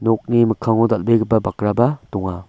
nokni mikkango dal·begipa bakraba donga.